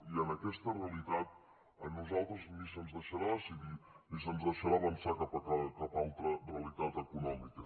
i en aquesta realitat a nosaltres ni se’ns deixarà decidir ni se’ns deixarà avançar cap a cap altra realitat econòmica